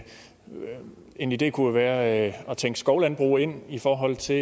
en idé kunne være at tænke skovlandbrug ind i forhold til